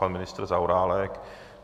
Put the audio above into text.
Pan ministr Zaorálek?